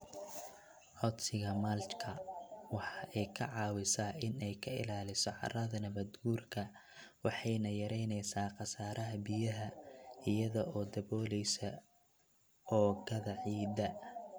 Codsiga mulch-ka waxa ay ka caawisaa in ay ka ilaaliso carrada nabaadguurka waxayna yaraynaysaa khasaaraha biyaha iyada oo daboolaysa oogada ciidda.